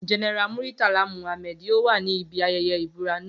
General Muritala Mohammed yoo wa si ibi ayẹyẹ ibura naa